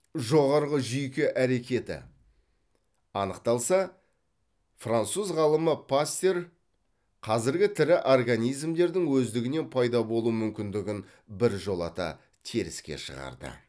жоғарғы жүйке әрекеті анықталса француз ғалымы пастер қазіргі тірі организмдердің өздігінен пайда болу мүмкіндігін біржолата теріске шығарды